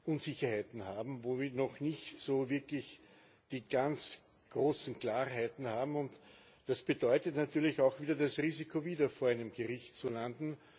Unsicherheiten haben, wo wir noch nicht so wirklich die ganz großen Klarheiten haben, und das bedeutet natürlich auch wieder das Risiko, wieder vor einem Gericht zu landen.